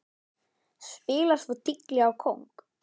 Spilar svo tígli á kóng.